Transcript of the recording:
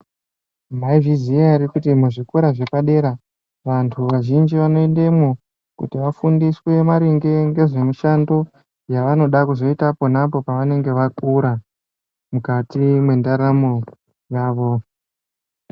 Mwaizviziya ere kuti muzvikora zvepadera vantu vazhinji vanoendemwo kuti vafundiswe maringe ngezvemishando yavanoda kuzoita ponapo pavanenge vakura mukati mwendaramo yavo.